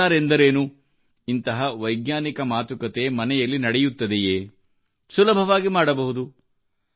sensor ಎಂದರೇನು ಇಂತಹ ವೈಜ್ಞಾನಿಕ ಮಾತುಕತೆ ಮನೆಯಲ್ಲಿ ನಡೆಯುತ್ತದೆಯೇ ಇದನ್ನು ನಾವು ಸುಲಭವಾಗಿ ಮಾಡಬಹುದು